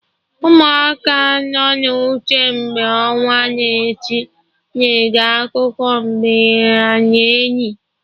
Ụmụaka nọ na ute, mgbe ọnwa na-eti, na-ege akụkọ mbe and enyi